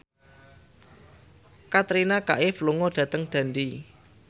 Katrina Kaif lunga dhateng Dundee